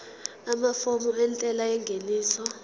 amafomu entela yengeniso